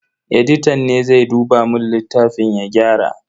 Editan ne zai duba mun littafin ya gyara.